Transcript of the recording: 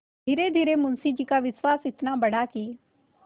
धीरेधीरे मुंशी जी का विश्वास इतना बढ़ा कि